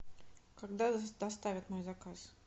когда доставят мой заказ